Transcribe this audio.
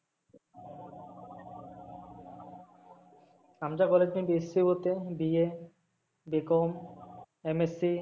आमच्या college मध्ये BSC होते BABComMSc